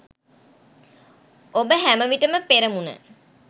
ඔබ හැමවිටම පෙරමුණ